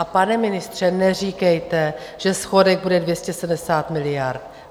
A pane ministře, neříkejte, že schodek bude 270 miliard.